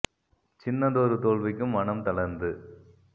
சின்னதொரு தோல்விக்கும் மனம்த ளர்ந்து